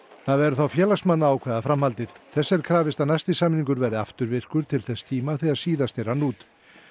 það verði þá félagsmanna að ákveða framhaldið þess er krafist að næsti samningur verði afturvirkur til þess tíma þegar síðasti rann út